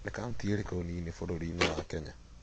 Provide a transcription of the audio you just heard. Nĩ kaũntĩ ĩrĩkũ nini bũrũri-inĩ wa Kenya?